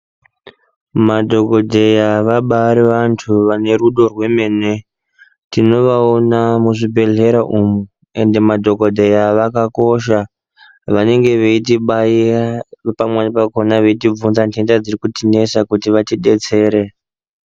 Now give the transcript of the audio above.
Madhokodheya vabari vantu vane rudo rwemene. Tinovaona muzvibhehlera umu ende madhokodheya zvakakosha. Vanenge veitibaira pamweni pakhona kutivhunza ntenda dzirikutinesa kuti vatidetsere.